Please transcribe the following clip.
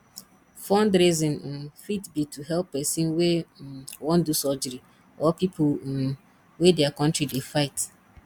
fundraising um fit be to help person wey um wan do surgery or pipo um wey their country dey fight